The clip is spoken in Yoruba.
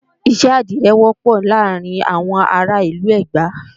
iṣẹ́ àdirẹ wọ́pọ̀ láàrin àwọn ará ìlú Ẹ̀gbá